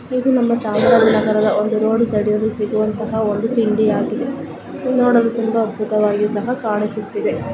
ಇದು ನಮ್ಮ ಚಾಮರಾಜನಗರದ ಒಂದು ರೋಡ್ ಸೈಡ್ ಸಿಗುವಂತಹ ಒಂದು ತಿಂಡಿಯಾಗಿದೆ ನೋಡಲು ತುಂಬಾ ಅದ್ಭುತವಾಗಿ ಸಹ ಕಾಣಿಸುತ್ತಿದೆ .